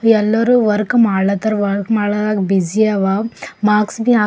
ಎಲ್ಲರೂ ವರ್ಕ್ ಮಾಡ್ಲತಾರಾ ವರ್ಕ್ ಮಾಡ್ಲತಾ ಬಿಜಿ ಅವಾ ಮಾರ್ಕ್ಸ್ ಬಿ ಹಾಕ್ --